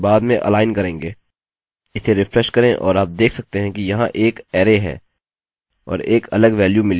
इसे रिफ्रेश करें और आप देख सकते हैं कि यहाँ एक अरै है और एक अलग वेल्यू मिली है